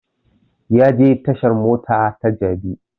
Ya je tashan mota ta jabi